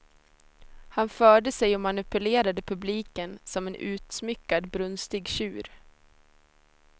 Han förde sig och manipulerade publiken som en utsmyckad, brunstig tjur.